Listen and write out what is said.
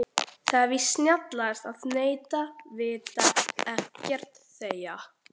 Það er víst snjallast að neita, vita ekkert, þegja.